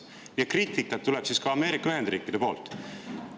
" Seega kriitikat tuleb siis ka Ameerika Ühendriikide poolt.